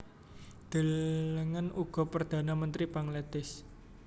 Delengen uga Perdhana Mentri Bangladesh